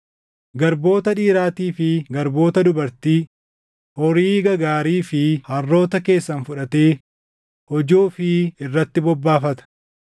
Garboota dhiiraatii fi garboota dubartii, horii gagaarii fi harroota keessan fudhatee hojii ofii irratti bobbaafata.